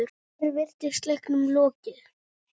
Hér virtist leiknum lokið.